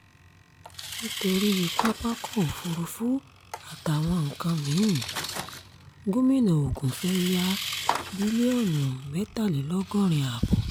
nítorí pápákọ̀ òfurufú àtàwọn nǹkan mí-ín gómìnà ogun fee ya bílíọ̀nù mẹ́tàlélọ́gọ́rin-ààbọ̀